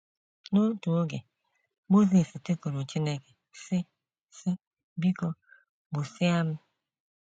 N’otu oge, Mosis tikuru Chineke, sị: sị: ‘ Biko, gbusịa m. ’